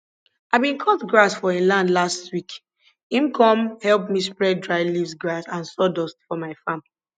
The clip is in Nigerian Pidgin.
i bin cut grass for e land last week him come help me spread dry leaves grass and sawdust for my farm